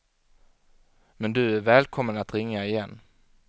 Men du är välkommen att ringa igen.